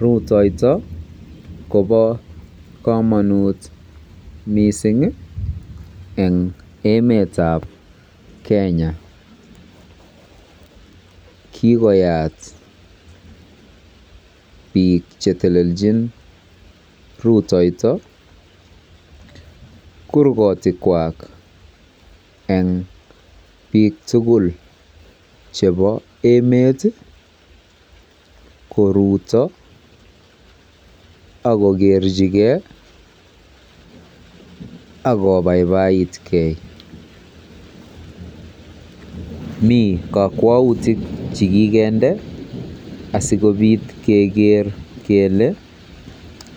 Rutoito Kobo komonut missingi en emetab Kenya, kikoyat bik chetelelchin rutoito kurgotik kwa en bik tukuk chebo emeti koruto akokerchigee am kobaibaitgee Mii kokweutuk chekikende asikopit Keker kele